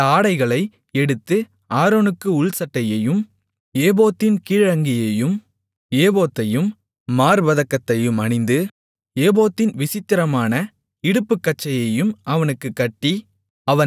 அந்த ஆடைகளை எடுத்து ஆரோனுக்கு உள்சட்டையையும் ஏபோத்தின் கீழ் அங்கியையும் ஏபோத்தையும் மார்ப்பதக்கத்தையும் அணிந்து ஏபோத்தின் விசித்திரமான இடுப்புக்கச்சையும் அவனுக்குக் கட்டி